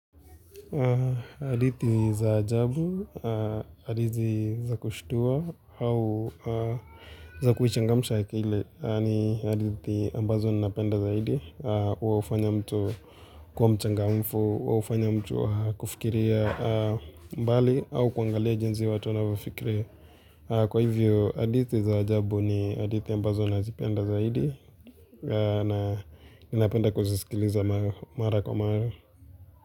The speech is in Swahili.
Adithi za ajabu, adithi za kushtua au za kuchangamsha akili ni adithi ambazo ninapenda zaidi hua hufanya mtu kuwa mchangamfu, hua hufanya mtu kufikiria mbali au kuangalia jinsi watu wanavyofikiria Kwa hivyo adithi za ajabu ni hadithi ambazo nazipenda zaidi na ninapenda kuzisikiliza mara kwa mara.